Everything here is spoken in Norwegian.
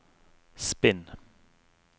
spinn